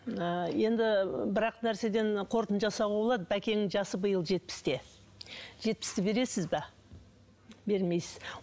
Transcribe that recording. ыыы енді бір ақ нәрседен қорытынды жасауға болады бәкеңнің жасы биыл жетпісте жетпісті бересіз бе бермейсіз